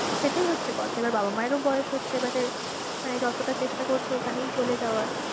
সেটাই হচ্ছে কথা, এবার বাবা মাযের ও বয়েস হচ্ছে এবারে মানে যতটা চেষ্টা করছি ঐখানেই চলে যাবার।